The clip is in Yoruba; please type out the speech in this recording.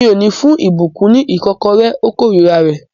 Mi ò ní fún ìbùkún ní ìkọ́kọrẹ́. Ó kórira rẹ̀